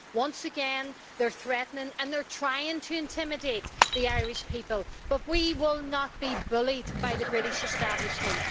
Once again, they're threatening and trying to intimidate the Irish people, but we will not be bullied by the British establishment.